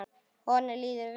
Honum líður vel.